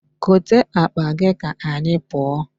Kote akpa gị ka anyị pụọ.